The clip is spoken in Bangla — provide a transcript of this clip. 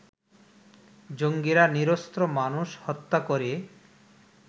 জঙ্গিরা নিরস্ত্র মানুষ হত্যা করে